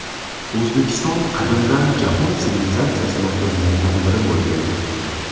O‘zbekiston qadimdan jahon sivilizatsiyasi markazlaridan biri bo‘lgan.